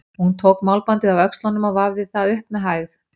Hún tók málbandið af öxlunum og vafði það upp með hægð.